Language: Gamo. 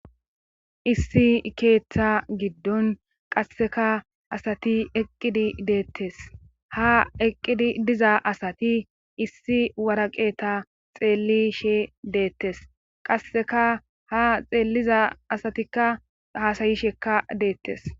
Issi keetha giddon qasseka asati eqqidi deettes ha eqqidi diza asati issi waraqeta xeellishe deettes qasseka ha xeelliza asatikka haasayishekka deettes.